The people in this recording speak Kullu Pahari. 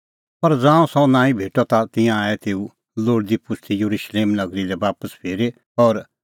पर ज़ांऊं सह नांईं भेटअ ता तिंयां आऐ तेऊ लोल़दीपुछ़दी येरुशलेम नगरी लै बापस फिरी और